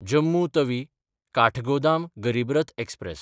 जम्मू तवी–काठगोदाम गरीब रथ एक्सप्रॅस